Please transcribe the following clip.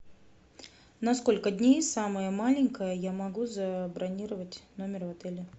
на сколько дней самое маленькое я могу забронировать номер в отеле